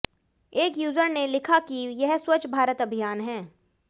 एक यूजर ने लिखा कि यह स्वच्छ भारत अभियान है